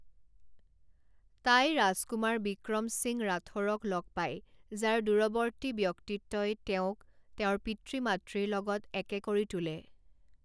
তাই ৰাজকুমাৰ বিক্ৰম সিং ৰাথোৰক লগ পায় যাৰ দূৰৱৰ্তী ব্যক্তিত্বই তেওঁক তেওঁৰ পিতৃ মাতৃৰ লগত একে কৰি তোলে।